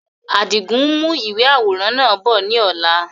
Àdigun n mú ìwé àwòrán náà bọ̀ ni ọ̀la